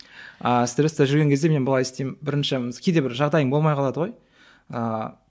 ааа стрескте жүрген кезде мен былай істеймін бірінше кейде бір жағдайың болмай қалады ғой ыыы